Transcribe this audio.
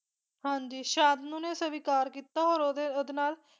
ਹਾਂਜੀ ਸ਼ਾਂਤਨੂ ਨੇ ਸਵੀਕਾਰ ਕੀਤਾ ਔਰ ਉਹ ਓਹਦੇ ਨਾਲ